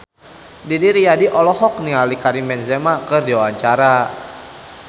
Didi Riyadi olohok ningali Karim Benzema keur diwawancara